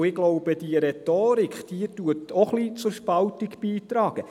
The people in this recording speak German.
Ich glaube, die- se Rhetorik trägt auch zur Spaltung bei.